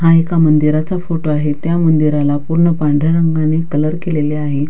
हा एका मंदिराचा फोटो आहे त्या मंदिराला पूर्ण पांढऱ्या रंगांनी कलर केलेले आहे.